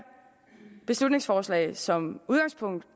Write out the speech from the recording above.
beslutningsforslag som udgangspunkt